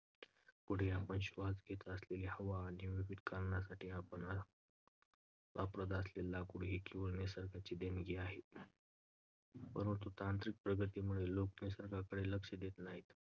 पुढे, आपण श्वास घेत असलेली हवा आणि विविध कारणांसाठी वाप~ वापरत असलेली लाकूड ही केवळ निसर्गाची देणगी आहे. परंतु, तांत्रिक प्रगतीमुळे लोक निसर्गाकडे लक्ष देत नाहीत.